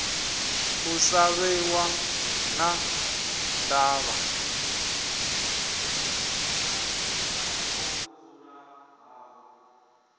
u sa vhiwa na ndavha